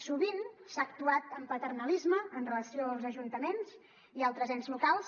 sovint s’ha actuat amb paternalisme amb relació als ajuntaments i altres ens locals